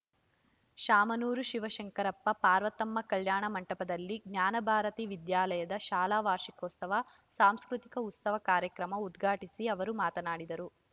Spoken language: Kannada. ಶಾಮನೂರು ಶಿವಶಂಕರಪ್ಪ ಪಾರ್ವತಮ್ಮ ಕಲ್ಯಾಣ ಮಂಟಪದಲ್ಲಿ ಜ್ಞಾನಭಾರತಿ ವಿದ್ಯಾಲಯದ ಶಾಲಾ ವಾರ್ಷಿಕೋತ್ಸವ ಸಾಂಸ್ಕೃತಿಕ ಉತ್ಸವ ಕಾರ್ಯಕ್ರಮ ಉದ್ಘಾ ಟಿಸಿ ಅವರು ಮಾತನಾಡಿದರು